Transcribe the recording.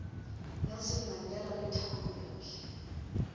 nelson mandela le thabo mbeki